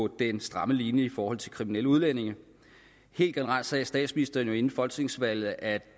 den stramme linje i forhold til kriminelle udlændinge helt generelt sagde statsministeren jo inden folketingsvalget at